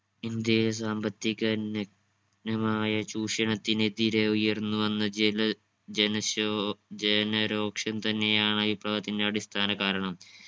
ഇന്ത്യയിൽ സാമ്പത്തിക നഗ്നമായ ചൂഷണത്തിന് എതിരെ ഉയർന്നുവന്ന ജന ജനശോ ജനരോക്ഷം തന്നെയാണ് വിപ്ലവത്തിൻ്റെ അടിസ്ഥാന കാരണം.